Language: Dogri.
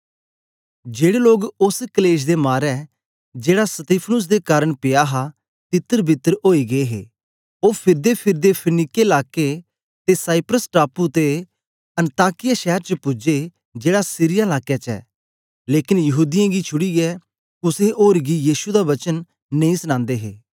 जेड़े लोग ओस कलेश दे मारे जेड़ा स्तिफनुस दे कारन पिया हा तितरबितर ओई गै हे ओ फिरदेफिरदे फीनीके लाके ते साइप्रस टापू ते अन्ताकिया शैर च पूजे जेड़ा सीरिया लाकें च ऐ लेकन यहूदीयें गी छुड़ीयै कुसे ओर गी यीशु दा वचन नेई सुनांदे हे